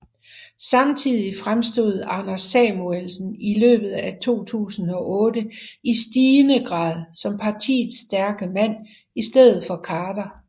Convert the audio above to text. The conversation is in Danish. Samtidig fremstod Anders Samuelsen i løbet af 2008 i stigende grad som partiets stærke mand i stedet for Khader